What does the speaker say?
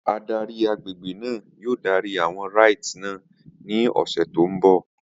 Adarí àgbègbè náà yóò darí àwọn rites náà ní ọ̀sẹ̀ tó ń bọ̀.